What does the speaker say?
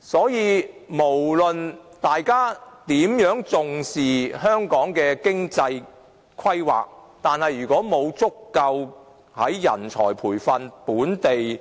所以，無論大家如何重視香港的經濟規劃，假如沒有足夠的人才培訓、本地